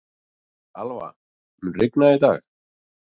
Alva, mun rigna í dag?